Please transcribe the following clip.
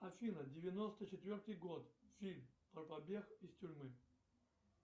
афина девяносто четвертый год фильм про побег из тюрьмы